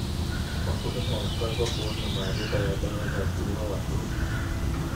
Wakulima wanapaswa kuwa na maarifa ya dawa za kuua wadudu.